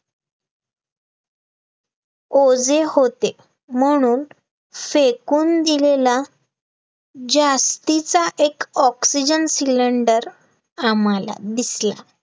ओझे होते म्हणून फेकून दिलेला जास्तीचा एक oxygen cylinder आम्हाला दिसला